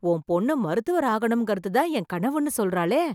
உன் பொண்ணு, மருத்துவர் ஆகணும்ங்கறதுதான் என் கனவுன்னு சொல்றாளே...